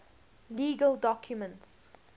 legal documents